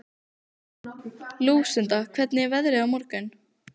Lúsinda, hvernig er veðrið á morgun?